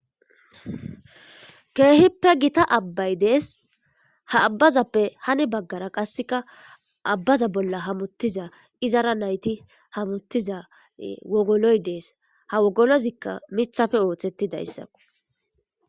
keehippe gita abbay dees ha abbazappe hani baggara qasseka abbaza bolla hamuttiza izara nayti hamuttiza wogoloy dees ha wogolozikka mithafe ooththetti dayssako